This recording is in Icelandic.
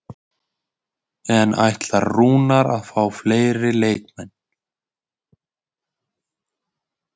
En ætlar Rúnar að fá fleiri leikmenn?